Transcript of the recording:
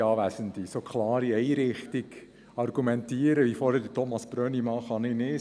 Ich kann nicht so klar in einer Richtung argumentieren, wie es Thomas Brönnimann vorhin gemacht hat.